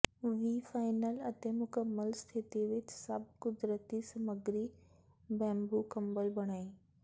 ਵੀ final ਅਤੇ ਮੁਕੰਮਲ ਸਥਿਤੀ ਵਿੱਚ ਸਭ ਕੁਦਰਤੀ ਸਮੱਗਰੀ ਬੈੰਬੂ ਕੰਬਲ ਬਣਾਈ